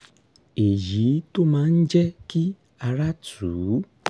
èyí tó máa ń jẹ́ kí ara tù ú